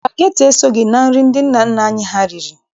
Spageti esoghị na nri ndị nna nna anyị ha riri.